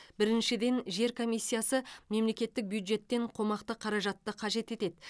біріншіден жер комиссиясы мемлекеттік бюджеттен қомақты қаражатты қажет етеді